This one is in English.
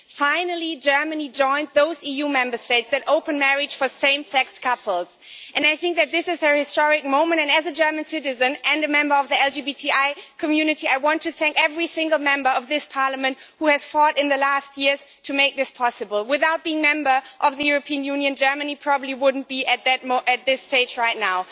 Finally, Germany joined those EU Member States which have open marriage for same sex couples. This is a historic moment, and as a German citizen and a member of the LGBTI community, I want to thank every single Member of this Parliament who has fought in recent years to make this possible. Were it not a Member State of the European Union, Germany probably would not be at that this stage right now.